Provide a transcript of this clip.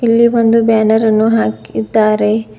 ಇಲ್ಲಿ ಒಂದು ಬ್ಯಾನರ್ ಅನ್ನು ಹಾಕಿದ್ದಾರೆ.